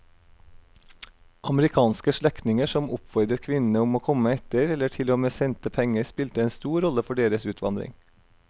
Amerikanske slektninger som oppfordret kvinnene om å komme etter eller til og med sendte penger spilte en stor rolle for deres utvandring.